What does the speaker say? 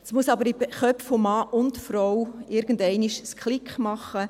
Es muss aber in den Köpfen von Mann und Frau irgendeinmal Klick machen.